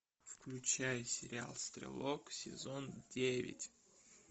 включай сериал стрелок сезон девять